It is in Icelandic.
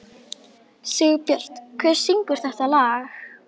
Hersir, frelsið, það er yndislegt er það ekki?